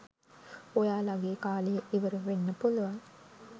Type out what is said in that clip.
ඔයාලගේ කාලය ඉවරවෙන්න පුලුවන්.